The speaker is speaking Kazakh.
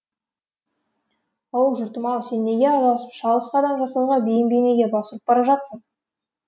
оу жұртым ау сен неге адасып шалыс қадам жасауға бейім бейнеге бас ұрып бара жатырсың